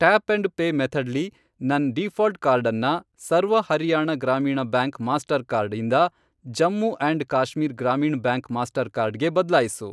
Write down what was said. Tap and pay method ಲಿ ನನ್ default ಕಾರ್ಡನ್ನ ಸರ್ವ ಹರಿಯಾಣ ಗ್ರಾಮೀಣ ಬ್ಯಾಂಕ್ ಮಾಸ್ಟರ್ಕಾರ್ಡ್ ಇಂದ Jammu and Kashmir Gramin bank Mastercard ಗೆ ಬದ್ಲಾಯಿಸು.